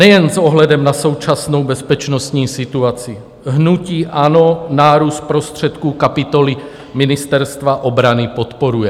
Nejen s ohledem na současnou bezpečnostní situaci hnutí ANO nárůst prostředků kapitoly Ministerstva obrany podporuje.